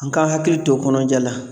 An ka hakili to kɔnɔja la.